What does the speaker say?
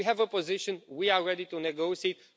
We have a position, we are ready to negotiate.